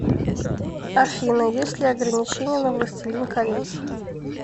афина есть ли ограничения на властелин колец